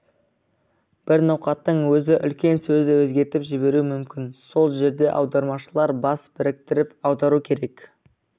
бір ноқаттың өзі үлкен сөзді өзгертіп жіберуі мүмкін сол жерде аудармашылар бас біріктіріп аудару керек